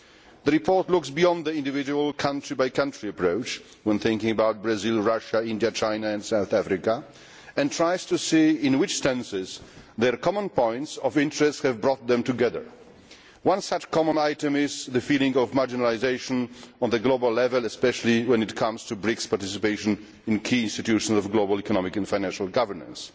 The report goes beyond the individual country by country approach when thinking about Brazil, Russia, India, China and South Africa, and tries to see in what senses their common points of interest have brought them together. One such common item is the feeling of marginalisation on the global level, especially when it comes to BRICS participation in the key institutions of global economic and financial governance.